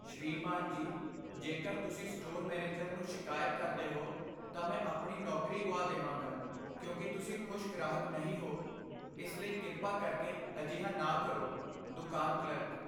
ਸ੍ਰੀਮਾਨ ਜੀ, ਜੇਕਰ ਤੁਸੀਂ ਸਟੋਰ ਮੈਨੇਜਰ ਨੂੰ ਸ਼ਿਕਾਇਤ ਕਰਦੇ ਹੋ, ਤਾਂ ਮੈਂ ਆਪਣੀ ਨੌਕਰੀ ਗੁਆ ਦੇ ਵਾਂਗਾ ਕਿਉਂਕਿ ਤੁਸੀਂ ਖੁਸ਼ ਗ੍ਰਾਹਕ ਨਹੀਂ ਹੋ, ਇਸ ਲਈ ਕਿਰਪਾ ਕਰਕੇ ਅਜਿਹਾ ਨਾ ਕਰੋ ਦੁਕਾਨ ਕਲਰਕ